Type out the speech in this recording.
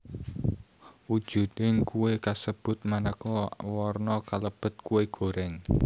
Wujuding kué kasebut manéka warna kalebet kué goreng